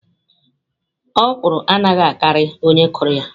Okwụrụ anaghi akari onye kuru ya.